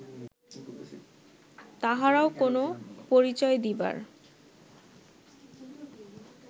তাঁহারও কোন পরিচয় দিবার